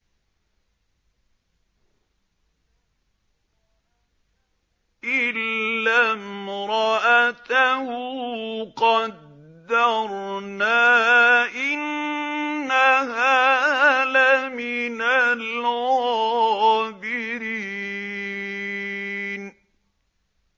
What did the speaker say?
إِلَّا امْرَأَتَهُ قَدَّرْنَا ۙ إِنَّهَا لَمِنَ الْغَابِرِينَ